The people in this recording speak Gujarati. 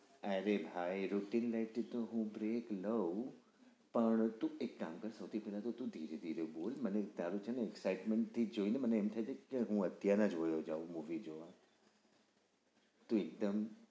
અરે ભાઈ rutin life થી તો હું break લઉ પણ તું એક કામ કર સૈથી પહેલા તો તું ધીરે ધીરે બોલ મને તારું e થી જ જોઈ ને મને એમ થાય છે કે અત્યારે જોયો જાઉં movie જોવા તું એકદમ